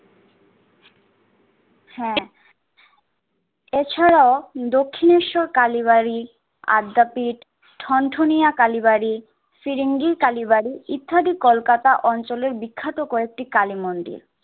হ্যা, এছাড়াও দক্ষিনেশ্বর কালীবাড়ি, আদ্যাপীঠ, ঠনঠনিয়া কালীবাড়ি, ফিরিঙ্গি কালীবাড়ি ইত্যাদি কলকাতা অঞ্চলের বিখ্যাত কয়েকটি কালীমন্দির।